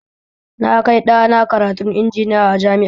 Na kai ɗana karantun injiniya a jami'a